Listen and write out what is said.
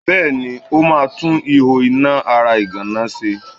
Bẹ́ẹ̀ni, ó ma tún ihò iná ara ìgànná náá ṣe.